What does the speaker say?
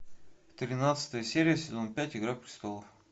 тринадцатая серия сезон пять игра престолов